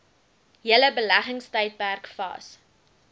hele beleggingstydperk vas